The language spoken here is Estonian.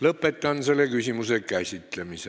Lõpetan selle küsimuse käsitlemise.